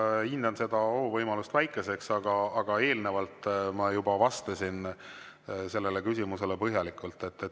Ma hindan seda ohu võimalust väikeseks, aga eelnevalt ma juba vastasin sellele küsimusele põhjalikult.